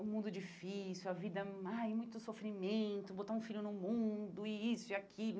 O mundo difícil, a vida má e muito sofrimento, botar um filho no mundo e isso e aquilo.